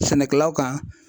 Sɛnɛkɛlaw kan